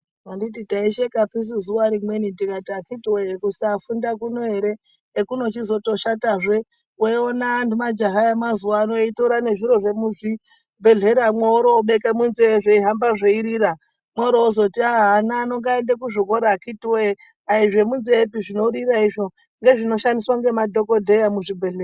Anditi taishekapi zuwa rimweni tikati akhiti woye, kusafunda kuno ere, ekunozotoshatazve weiona majaha emazuwaano weitora zviro zvemuchizvibhedhleramwo woorobeka munzeye zveihamba zveirira worozoti ana ano ngaaende kuzvikora akhiti woye azvemunzeyepi zvinorira ndezvinoshandiswa nemadhokodheya muzvibhedhlera.